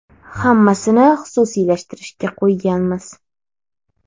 Hammasini xususiylashtirishga qo‘yganmiz.